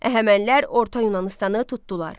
Əhəmənilər Orta Yunanıstanı tutdular.